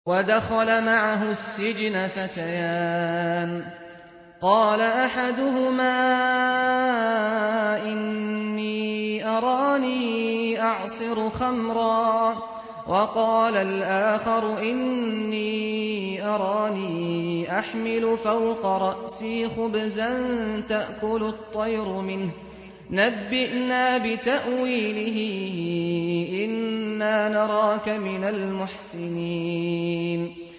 وَدَخَلَ مَعَهُ السِّجْنَ فَتَيَانِ ۖ قَالَ أَحَدُهُمَا إِنِّي أَرَانِي أَعْصِرُ خَمْرًا ۖ وَقَالَ الْآخَرُ إِنِّي أَرَانِي أَحْمِلُ فَوْقَ رَأْسِي خُبْزًا تَأْكُلُ الطَّيْرُ مِنْهُ ۖ نَبِّئْنَا بِتَأْوِيلِهِ ۖ إِنَّا نَرَاكَ مِنَ الْمُحْسِنِينَ